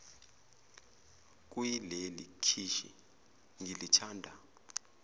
kuyileli khishi ngilithanda